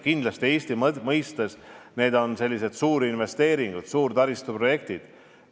Kindlasti on need Eesti mõistes suurinvesteeringud, suured taristuprojektid.